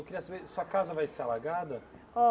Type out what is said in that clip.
Eu queria saber, sua casa vai ser alagada?